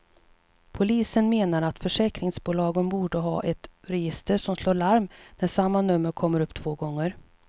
Polisen menar att försäkringsbolagen borde ha ett register som slår larm när samma nummer kommer upp två gånger.